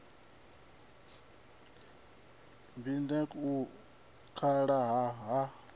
b index u kala ha